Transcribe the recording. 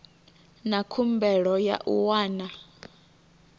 na khumbelo ya u wana